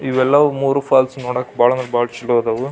ಇವೆಲ್ಲವೂ ಮೂರೂ ಫಾಲ್ಸ್ ನೋಡಕ್ ಭಾಳ ಅಂದ್ರೆ ಭಾಳ ಚಲೋ ಅದಾವು.